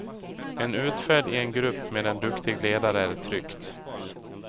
En utfärd i en grupp med en duktig ledare är tryggt.